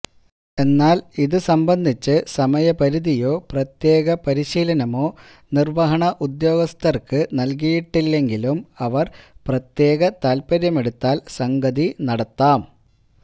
എന്നാല് ഇത് സംബന്ധിച്ച് സമയപരിധിയോ പ്രത്യേക പരിശീലനമോ നിര്വഹണ ഉദ്യോഗസ്ഥര്ക്ക് നല്കിയിട്ടില്ലെങ്കിലും അവര് പ്രത്യേക താല്പ്പര്യമെടുത്താല് സംഗതി നടത്താം